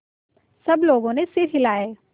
सब लोगों ने सिर हिलाए